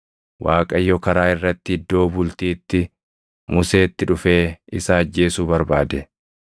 Waaqayyo karaa irratti iddoo bultiitti Museetti dhufee isa ajjeesuu barbaade.